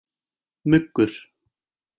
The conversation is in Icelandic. Muggur